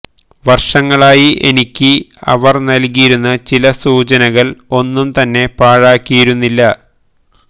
വർഷങ്ങളായി എനിക്ക് അവർ നൽകിയിരുന്ന ചില സൂചനകൾ ഒന്നും തന്നെ പാഴാക്കിയിരുന്നില്ല